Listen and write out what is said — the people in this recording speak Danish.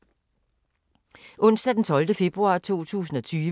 Onsdag d. 12. februar 2020